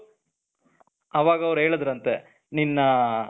ಅವಾಗ ಅವರು ಹೇಳಿದರಂತೆ ನಿನ್ನ